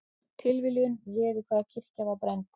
Tilviljun réð hvaða kirkja var brennd